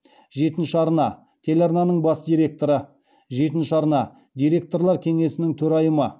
жетінші арна телеарнасының бас директоры жетінші арна директорлар кеңесінің төрайымы